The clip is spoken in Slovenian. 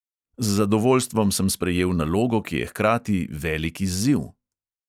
Z zadovoljstvom sem sprejel nalogo, ki je hkrati velik izziv.